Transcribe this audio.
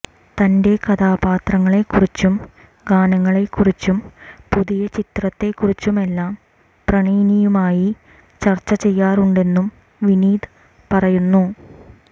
തന്റെ കഥാപാത്രങ്ങളെക്കുറിച്ചും ഗാനങ്ങളെക്കുറിച്ചും പുതിയ ചിത്രത്തെക്കുറിച്ചുമെല്ലാം പ്രണയിനിയുമായി ചര്ച്ച ചെയ്യാറുണ്ടെന്നും വിനീത് പറയുന്നു